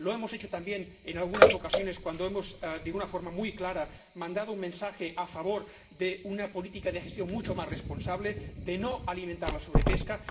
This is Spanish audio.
Lo hemos hecho también en algunas ocasiones de una forma muy clara, cuando hemos mandado un mensaje a favor de una política de gestión mucho más responsable, de no alimentar la sobrepesca.